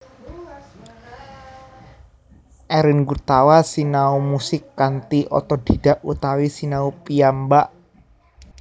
Erwin Gutawa sinau musik kanthi otodhidhak utawi sinau piyambak